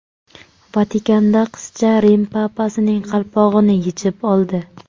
Vatikanda qizcha Rim papasining qalpog‘ini yechib oldi .